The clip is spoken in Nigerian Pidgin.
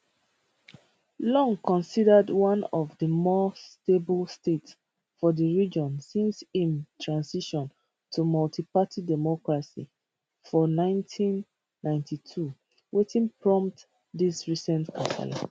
long considered one of di more stable states for di region since im transition to multiparty democracy for 1992 wetin prompt dis recent kasala